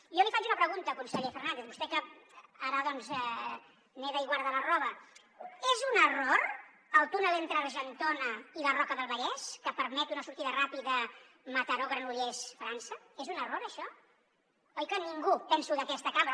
jo li faig una pregunta conseller fernández a vostè que ara doncs neda i guarda la roba és un error el túnel entre argentona i la roca del vallès que permet una sortida ràpida mataró granollers frança és un error això oi que ningú penso d’aquesta cambra